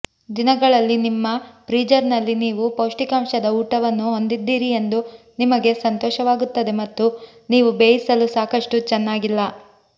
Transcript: ದಿನಗಳಲ್ಲಿ ನಿಮ್ಮ ಫ್ರೀಜರ್ನಲ್ಲಿ ನೀವು ಪೌಷ್ಠಿಕಾಂಶದ ಊಟವನ್ನು ಹೊಂದಿದ್ದೀರಿ ಎಂದು ನಿಮಗೆ ಸಂತೋಷವಾಗುತ್ತದೆ ಮತ್ತು ನೀವು ಬೇಯಿಸಲು ಸಾಕಷ್ಟು ಚೆನ್ನಾಗಿಲ್ಲ